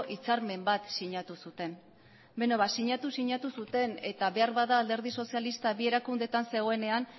hitzarmen bat sinatu zuten beno ba sinatu sinatu zuten eta behar bada alderdi sozialista bi erakundeetan zegoenean